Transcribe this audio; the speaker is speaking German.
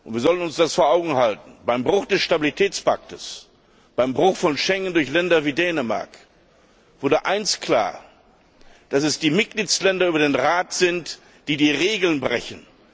Wir sollten es uns vor Augen halten Beim Bruch des Stabilitätspakts, beim Bruch von Schengen durch Länder wie Dänemark wurde eines klar dass es die Mitgliedstaaten über den Rat sind, die die Regeln brechen.